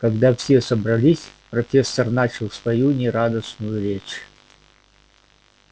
когда все собрались профессор начал свою нерадостную речь